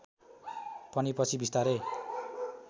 पनि पछि बिस्तारै